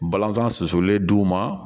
Balanzan susulen d'u ma